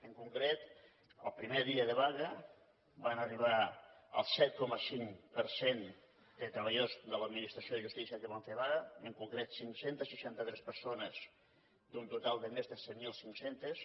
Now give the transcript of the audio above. en concret el primer dia de vaga van arribar al set coma cinc per cent de treballadors de l’administració de justícia que van fer vaga en concret cinc cents i seixanta tres persones d’un total de més de set mil cinc cents